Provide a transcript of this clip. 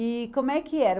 E como é que era?